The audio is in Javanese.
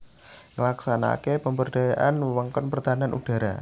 Nglaksanakaké pemberdayaan wewengkon pertahanan udhara